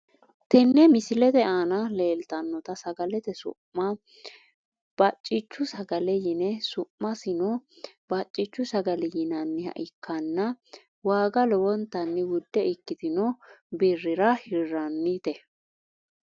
Tenne misilete aana leeltanota sagalete su`ma bacichu sagale yine su`masino bacichu sagale yinayiha ikkana waga lowontani wudde ikitino birira hiranite.